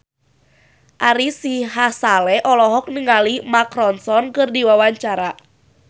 Ari Sihasale olohok ningali Mark Ronson keur diwawancara